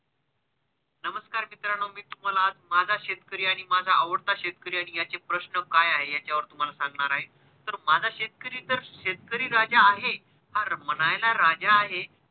नमस्कार मित्रांनो मी तुम्हाला आज माझा शेतकरी आणि माझा आवडता शेतकरी आणि ह्याचे प्रश्न काय आहे ह्याच्यावर तुम्हाला सांगणार आहे तर माझा शेतकरी तर शेतकरी राजा आहे हा म्हणायला राजा आहे.